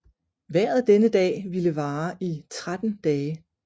Vejret denne dag ville vare i 13 dage